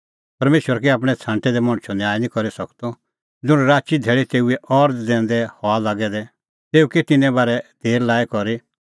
परमेशर कै आपणैं छ़ांटै दै मणछो न्याय निं करी सकदअ ज़ुंण राची धैल़ी तेऊए अरज़ दैंदै हआ लागै दै तेऊ कै तिन्नें बारै देर लाई करी